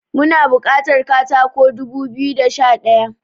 Muna bukatar katako dubu biyu da Sha daya